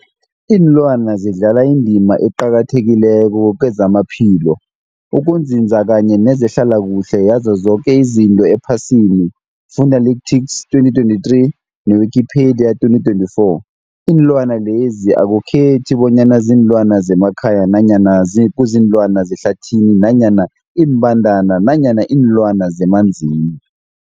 Iinlwana zidlala indima eqakathekileko kezamaphilo, ukunzinza kanye nezehlala kuhle yazo zoke izinto ephasini, Fuanalytics 2023, ne-Wikipedia 2024. Iinlwana lezi akukhethi bonyana ziinlwana zemakhaya nanyana kuziinlwana zehlathini nanyana iimbandana nanyana iinlwana zemanzini.